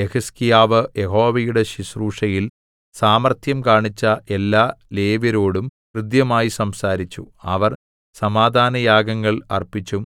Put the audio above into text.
യെഹിസ്കീയാവ് യഹോവയുടെ ശുശ്രൂഷയിൽ സാമർത്ഥ്യം കാണിച്ച എല്ലാ ലേവ്യരോടും ഹൃദ്യമായി സംസാരിച്ചു അവർ സമാധാനയാഗങ്ങൾ അർപ്പിച്ചും